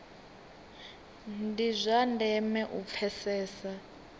ndi zwa ndeme u pfesesa